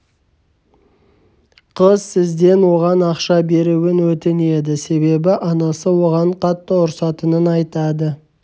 қыз сізден оған ақша беруін өтінеді себебі анасы оған қатты ұрсатынын айтады